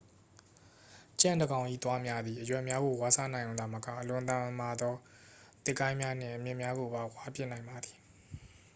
ကြံ့တစ်ကောင်၏သွားများသည် အရွက်များကို ဝါးစားနိုင်ရုံသာမက အလွန်မာသော သစ်ကိုင်းများနှင့် အမြစ်များကိုပင် ဝါးပစ်နိုင်ပါသည်